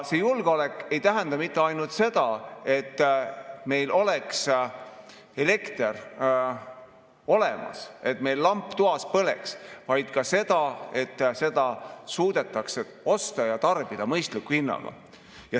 See julgeolek ei tähenda mitte ainult seda, et meil oleks elekter olemas, et meil lamp toas põleks, vaid ka seda, et seda suudetakse osta ja tarbida mõistliku hinnaga.